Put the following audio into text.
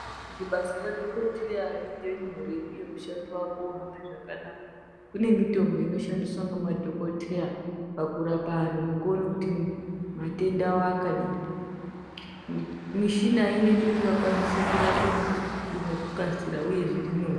Kuti basa radhokoteya riite nyore uye mushando wake uhambe zvakanaka kune mitombo inoshandiswa nemadhokoteya pakurapa antu nekuone kuti ma matenda awo akadini mi mishina inoite kuti vakwanise kurape noku nekukasira uye zviri nyore.